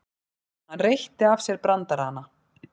Hann reytti af sér brandarana.